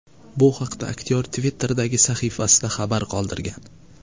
Bu haqda aktyor Twitter’dagi sahifasida xabar qoldirgan .